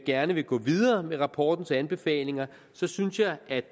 gerne vil gå videre med rapportens anbefalinger så synes jeg at